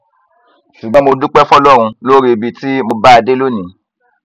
ṣùgbọn mo dúpẹ fọlọrun lórí ibi tí mo bá a dé lónìí